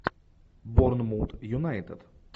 борнмут юнайтед